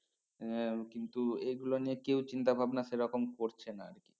এর কিন্তু এগুলো নিয়ে কেও চিন্তা ভাবনা সে রকম করছে না আর কি